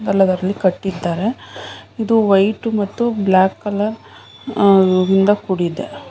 ಹಲವಾರು ಇಲ್ಲಿ ಕಟ್ಟಿದ್ದಾರೆ ಇದು ವೈಟ್ ಮತ್ತೆ ಬ್ಲಾಕ್ ಕಲರ್ ಇಂದ ಕೂಡಿದೆ.